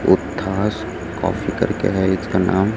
Coffee करके है इसका नाम।